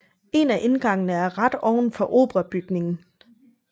En af indgangene er ret ovenfor operabygningen